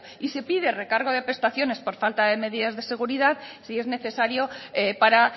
y se pide recargo de prestaciones por falta de medidas de seguridad si es necesario para